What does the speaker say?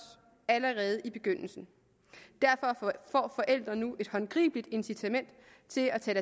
allerede i begyndelsen derfor får forældre nu et håndgribeligt incitament til at tage